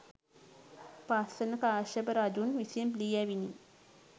පස්වන කාශ්‍යප රජුන් විසින් ලියැවිණි.